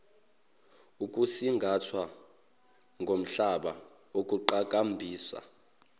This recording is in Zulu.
ukusingathwa komhlaba ukuqhakambisa